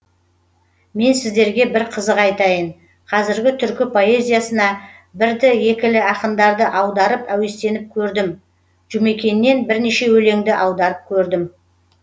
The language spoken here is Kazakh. мен сіздерге бір қызық айтайын қазіргі түркі поэзиясына бірді екілі ақындарды аударып әуестеніп көрдім жұмекеннен бірнеше өлеңді аударып көрдім